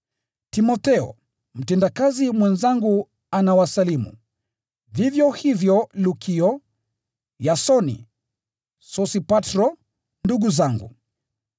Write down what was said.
Timotheo, mtendakazi mwenzangu anawasalimu. Vivyo hivyo Lukio, Yasoni, na Sosipatro, ndugu zangu.